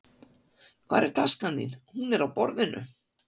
Hvar er taskan þín? Hún er á borðinu.